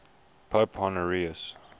pope honorius